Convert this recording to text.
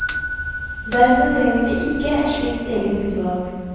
Derfor trenger vi ikke et slikt eget utvalg.